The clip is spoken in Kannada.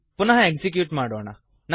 ಪುನಃ ಎಕ್ಸಿಕ್ಯೂಟ್ ಮಾಡೋಣ